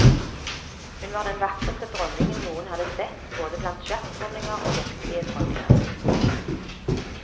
Hun var den vakreste dronningen noen hadde sett både blant sjakkdronninger og virkelige dronninger.